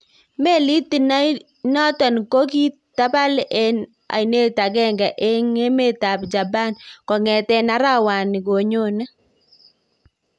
Melit inaiton ko kokitapal eng anet agenge eng emet ap japan kongeten arawani konye